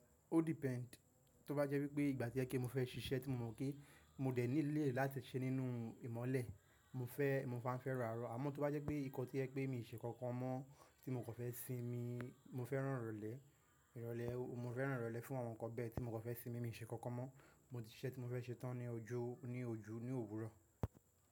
Ó depend. Tí ó bá jẹ́ wípé ìgbà tí ẹ kí mo fẹ́ ṣíṣe tí mo mọ̀ pé mo o dẹ̀ ní ilẹ̀ láti ṣe nínú ìmọ̀lẹ, mo fẹ́, mo máa ń fẹ́ ràárọ̀. Àmọ́ tóbá jẹ́ pe ìkan tó jẹ wípé mio ṣe nkankan mọ́, tí mo kàn fẹ sinmi mo fẹ́ràn irọlẹ. Mo fẹ́ràn irọlẹ fun awọn nkan bẹẹ. Ti mo kàn fẹ sinmi mio ṣe nkankan mọ́. Iṣẹ́ tí mo fẹ́ ṣe tán ni ojú, ní ojú, ní òwúrọ̀